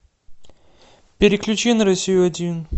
переключи на россию один